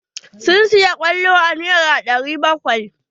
Sun saya kwallon a nera ɗari bakwai.